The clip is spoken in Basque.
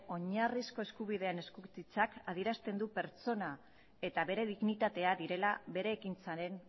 oinarrizko eskubideen eskutitzak adierazten du pertsona eta bere dignitatea direla bere ekintzaren